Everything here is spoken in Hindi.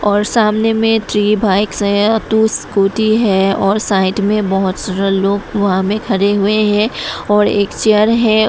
और सामने में थ्री बाइक्स टू स्कूटी है और साइड में बहोत सारे लोग वहा मे खड़े हुए हैं और एक चेयर है।